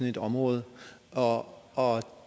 et område og og